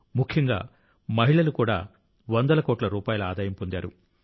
ముఖ్యంగా మహిళలు కూడా వందల కోట్ల రూపాయల ఆదాయం పొందారు